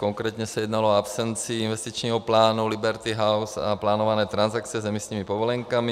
Konkrétně se jednalo o absenci investičního plánu Liberty House a plánované transakce s emisními povolenkami.